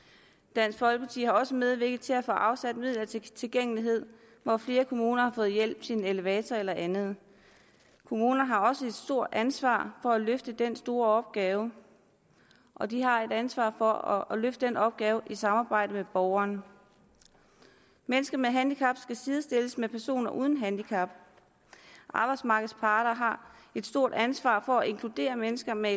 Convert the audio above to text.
dansk folkeparti har også medvirket til at få afsat midler til tilgængelighed og flere kommuner har fået hjælp til en elevator eller andet kommunerne har også et stort ansvar for at løfte den store opgave og de har et ansvar for at løfte den opgave i samarbejde med borgeren mennesker med handicap skal sidestilles med personer uden handicap arbejdsmarkedets parter har et stort ansvar for at inkludere mennesker med